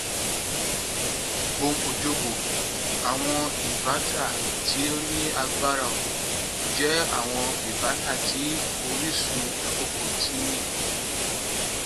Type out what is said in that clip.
bome ojoboh awọn inverters ti o ni agbara oorun jẹ awọn inverters ti orisun akọkọ ti